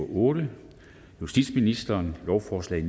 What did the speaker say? otte justitsministeren lovforslag